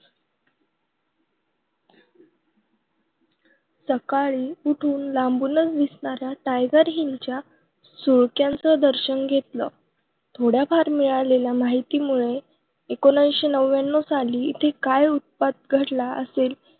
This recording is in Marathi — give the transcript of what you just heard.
सकाळी उठून लांबूनच दिसणाऱ्या tiger hill च्या सुळक्यांचं दर्शन घेतलं. थोड्याफार मिळालेल्या माहितीमुळे एकोणीशे नव्यानव साली इथे काय उत्पात घडला असेल